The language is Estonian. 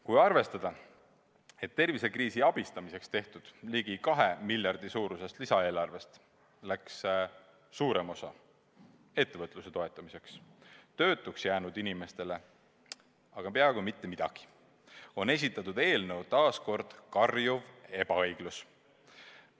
Kui arvestada, et tervisekriisi leevendamiseks tehtud ligi 2 miljardi suurusest lisaeelarvest läks suurem osa ettevõtluse toetamiseks, töötuks jäänud inimestele aga peaaegu mitte midagi, on esitatud eelnõu taas kord karjuv ebaõiglus.